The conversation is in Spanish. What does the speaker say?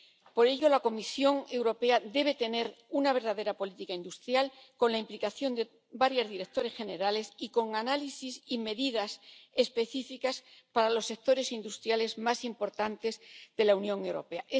Por ello, la Comisión Europea debe tener una verdadera política industrial, con la implicación de varias direcciones generales y con análisis y medidas específicas para los sectores industriales más importantes de la Unión Europea.